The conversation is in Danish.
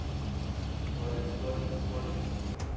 måtte måtte måtte